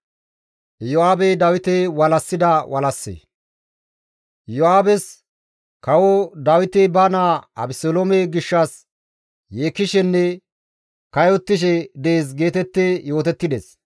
Iyo7aabes, «Kawo Dawiti ba naa Abeseloome gishshas yeekkishenne kayottishe dees» geetetti yootettides.